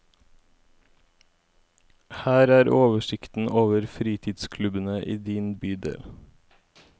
Her er oversikten over fritidsklubbene i din bydel.